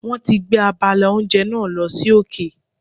Wọ́n ti gbé abala oúnjẹ náà lọ sí òkè.